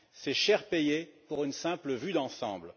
C'est cher payé pour une simple vue d'ensemble.